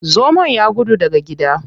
Zomon ya gudu daga gida.